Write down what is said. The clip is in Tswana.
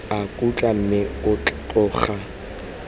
a khutla mme o tloga